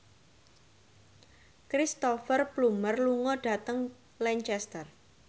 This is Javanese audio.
Cristhoper Plumer lunga dhateng Lancaster